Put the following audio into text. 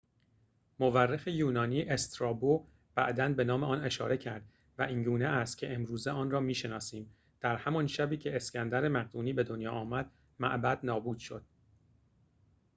مورخ یونانی استرابو بعداً به نام آن اشاره کرده و اینگونه است که امروزه آن را می‌شناسیم در همان شبی که اسکندر مقدونی به دنیا آمد معبد نابود شد